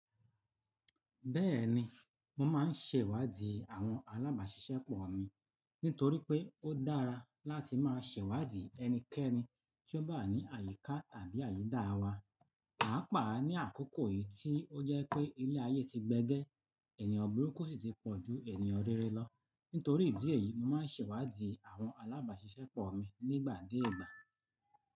Bẹ́ẹ̀ni, mo máa ń ṣèwádìí àwọn alábàáṣiṣẹ́pọ̀ mi nítorí pé ó dára láti máa ṣèwádìí ẹnikẹ́ni tí ó bá wa ní àyíká tàbí àyídá wa, pàápàá ní àkókò yìí tí ó jẹ́ pé ilé ayé ti gbẹ́gẹ́, ènìyàn burúkú sì ti pọ̀ ju ènìyàn rere lọ. Nítorí ìdí èyí, mo máa ń ṣèwádìí àwọn alábàáṣiṣẹ́pọ̀ mi nígbà dé ìgbà.